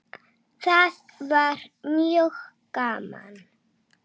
Það var mjög gaman.